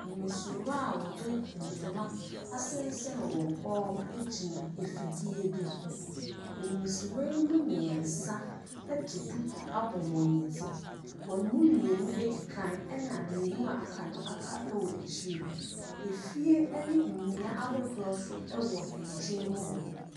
Mmasirwa a wɔde ntoma asensɛn wɔn kɔn ho gyina afidie bi ho. Mmasirwa yi mu mmiɛnsa de duku abɔ wɔn ti, wɔn mu mmienu di ka na mmienu a aka no aka akyire. Fie ne nnua ahodoɔ nso wɔ nkyɛn mu hɔ.